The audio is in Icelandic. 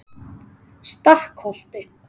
Stakkholti